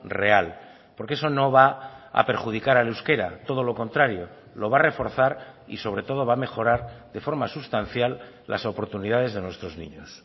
real porque eso no va a perjudicar al euskera todo lo contrario lo va a reforzar y sobre todo va a mejorar de forma sustancial las oportunidades de nuestros niños